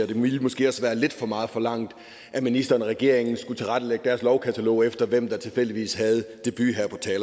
det ville måske også være lidt for meget forlangt at ministeren og regeringen skulle tilrettelægge deres lovkatalog efter hvem der tilfældigvis havde debut